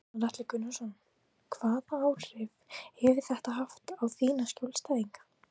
Gunnar Atli Gunnarsson: Hvaða áhrif hefur þetta haft á þína skjólstæðinga?